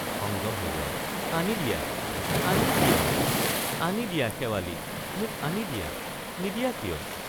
সংযম হেৰুৱাই আনি দিয়া আনি দিয়া আনি দিয়া শেৱালিক মোক আনি দিয়া নিদিয়া কিয়?